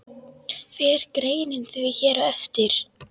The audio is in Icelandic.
Fer greinin því hér á eftir.